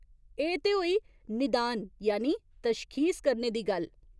एह् ते होई निदान यानि तशखीस करने दी गल्ल।